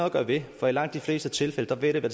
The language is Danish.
at gøre ved for i langt de fleste tilfælde vil det